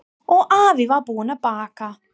Og afi var búinn að baka.